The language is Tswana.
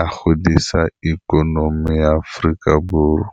a godisa ikonomi ya Aforika Borwa.